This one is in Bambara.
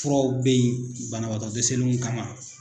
Furaw bɛ ye banabagatɔ dɛsɛlenw kama.